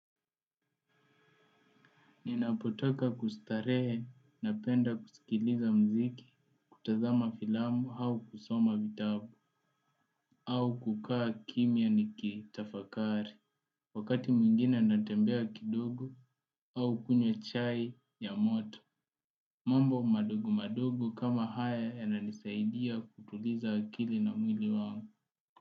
Ninapotoka kustarehe, napenda kusikiliza mziki, kutazama filamu au kusoma vitabu, au kukaa kimya nikitafakari, wakati mwingine natembea kidogo au kunywa chai ya moto. Mambo madogo madogo kama haya yananisaidia kutuliza akili na mwili wangu.